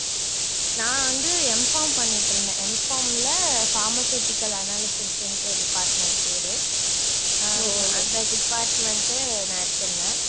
நான் வந்து Mpharm பண்ணிட்டிருந்தேன். Mpharm ல pharmaceutical analysis ன்டு department பேரு, அந்த department உ நான் எடுத்திருந்தேன்.